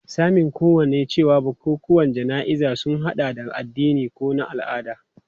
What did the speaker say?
Sanin kowa ne cewa bukukuwan jana'izar sun hada da na addini ko na al'ada.